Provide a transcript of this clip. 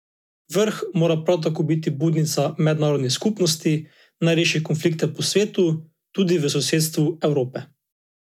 Vrh mora prav tako biti budnica mednarodni skupnosti, naj reši konflikte po svetu, tudi v sosedstvu Evrope.